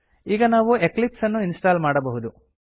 ಈಗ ನಾವು ಎಕ್ಲಿಪ್ಸ್ ಅನ್ನು ಇನ್ಸ್ಟಾಲ್ ಮಾಡಬಹುದು